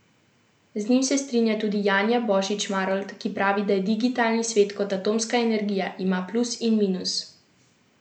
Z njim se strinja tudi Janja Božič Marolt, ki pravi, da je digitalni svet kot atomska energija: "Ima plus in minus.